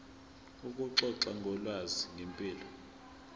ukuxoxa ngolwazi ngempilo